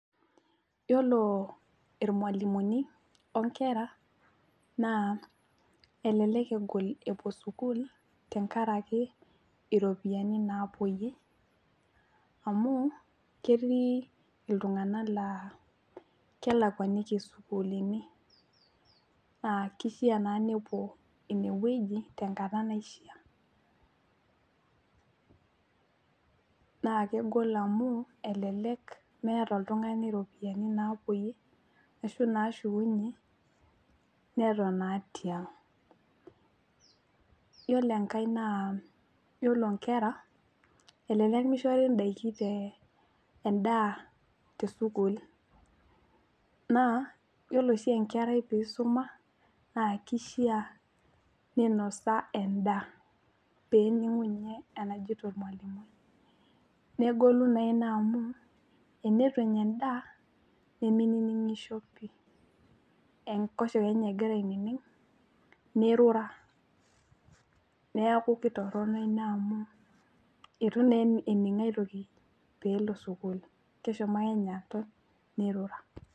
Yiolo irmwalimuni onkera naa elelk egol epuo sukuul tenkaraki iropiyiani naapuoyie amu ketii iltunganak laa kelakwaniki isuukulini naa kishaa naa nepuo inewueji tenkata naishiaa naa kegol amu elelek meeta oltungani iropiyiani napuoyie ashu nashukunyie neton naa tiang. Yiolo enkae naa yiolo inkera elelek mishori ndaiki te, endaa tesukuul naa yiolo oshi enkerai tenisuma naa kishaa ninosa endaa peningu ninye enajoito ormwalimui, negolu naa ina amu teneitu enya endaa , nemeininingisho pi , enkoshoke ninye egira aining ,nirura , niaku kitorono ina amu itu naa ening aitoki pelo sukuul keshomo ake ninye aton nirura.